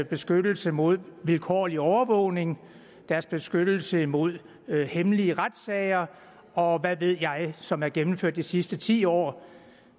beskyttelse imod vilkårlig overvågning deres beskyttelse imod hemmelige retssager og hvad ved jeg som er gennemført de sidste ti år